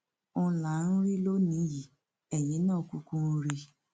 òun là ń rí lónìín yìí eyín náà kúkú ń rí i